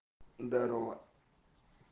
здорово